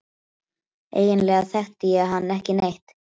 Eiginlega þekkti ég hann ekki neitt.